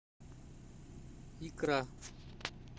икра